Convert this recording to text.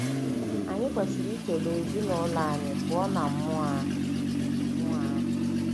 Anyị kwesịrị ichebe ezinụlọ anyị pụọ ná mmụọ ahụ. mmụọ ahụ.